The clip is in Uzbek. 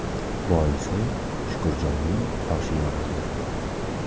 Boisi Shukurjonning qoshi yorildi.